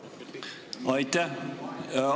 Aitäh!